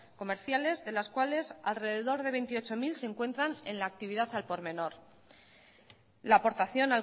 comerciales de las cuales alrededor de veintiocho mil se encuentran en la actividad al por menor la aportación